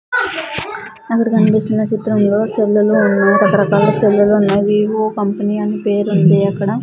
అక్కడ కన్పిస్తున్న చిత్రంలో సెల్లులు రకరకాల సెల్లులు ఉన్నాయి వివో కంపెనీ అని పేరుంది అక్కడ--